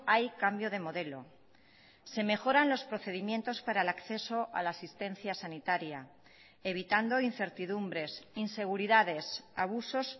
hay cambio de modelo se mejoran los procedimientos para el acceso a la asistencia sanitaria evitando incertidumbres inseguridades abusos